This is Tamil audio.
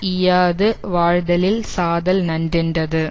ஈயாது வாழ்தலில் சாதல் நன்றென்றது